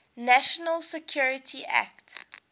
national security act